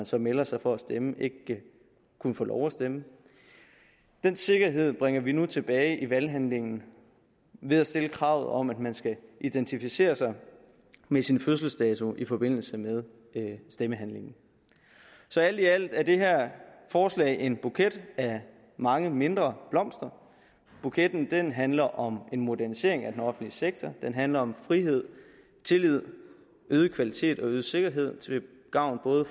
så meldte sig for at stemme ikke kunne få lov at stemme den sikkerhed bringer vi nu tilbage i valghandlingen ved at stille kravet om at man skal identificere sig med sin fødselsdato i forbindelse med stemmehandlingen så alt i alt er det her forslag en buket af mange mindre blomster buketten handler om en modernisering af den offentlige sektor det handler om frihed tillid øget kvalitet og øget sikkerhed til gavn